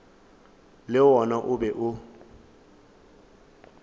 le wona o be o